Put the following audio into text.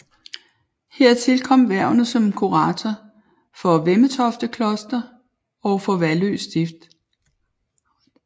Hertil kom hvervene som kurator for Vemmetofte Kloster og for Vallø Stift